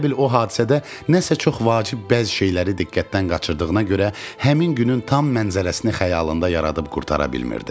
Elə bil o hadisədə nəsə çox vacib bəzi şeyləri diqqətdən qaçırdığına görə həmin günün tam mənzərəsini xəyalında yaradıb qurtara bilmirdi.